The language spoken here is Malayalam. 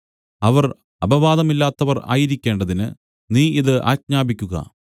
അവർ അപവാദമില്ലാത്തവർ ആയിരിക്കേണ്ടതിന് നീ ഇത് ആജ്ഞാപിക്കുക